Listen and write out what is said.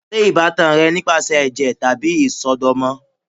Ṣe ibatan rẹ nipasẹ ẹjẹ tabi isọdọmọ?